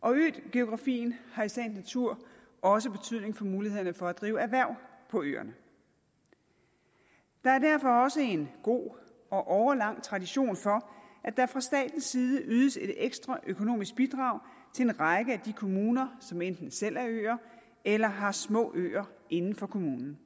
øgeografien har i sagens natur også betydning for mulighederne for at drive erhverv på øerne der er derfor også en god og årelang tradition for at der fra statens side ydes et ekstra økonomisk bidrag til en række af de kommuner som enten selv er øer eller har små øer inden for kommunen